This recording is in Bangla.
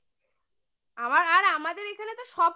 হ্যাঁ আমার আর আমাদের এখানে তো সব